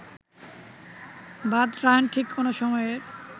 বাদরায়ণ ঠিক কোন সময়ের